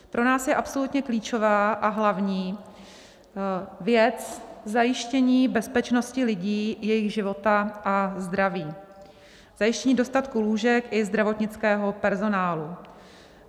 Pro nás je absolutně klíčová a hlavní věc zajištění bezpečnosti lidí, jejich života a zdraví, zajištění dostatku lůžek i zdravotnického personálu.